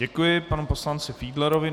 Děkuji panu poslanci Fiedlerovi.